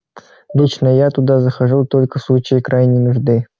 лично я туда захожу только в случае крайней нужды